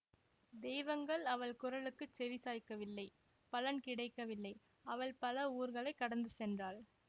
தெய்வங்கள் அவள் குரலுக்குச் செவி சாய்க்கவில்லை பலன் கிடைக்கவில்லை அவள் பல ஊர்களைக் கடந்து சென்றாள்